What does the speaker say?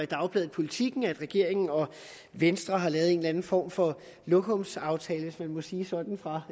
dagbladet politiken kan læse at regeringen og venstre har lavet en eller anden form for lokumsaftale hvis man må sige sådan fra